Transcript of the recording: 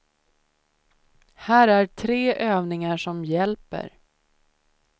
Här är tre övningar som hjälper.